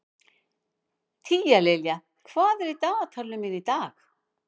Tíalilja, hvað er í dagatalinu mínu í dag?